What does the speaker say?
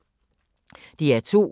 DR2